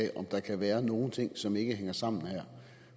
af om der kan være nogle ting som ikke hænger sammen her